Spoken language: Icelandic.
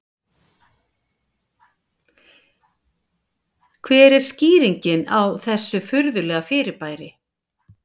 Hver er skýringin á þessu furðulega fyrirbæri?